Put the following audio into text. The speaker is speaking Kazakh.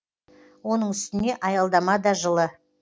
оның үстіне аялдама да жылы